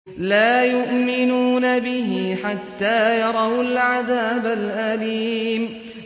لَا يُؤْمِنُونَ بِهِ حَتَّىٰ يَرَوُا الْعَذَابَ الْأَلِيمَ